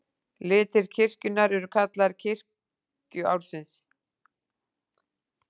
Litir kirkjunnar eru kallaðir litir kirkjuársins.